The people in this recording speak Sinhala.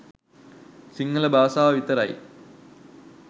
සිංහල බාසාව විතරයි